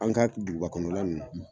An ka duguba kɔnɔ la ninnu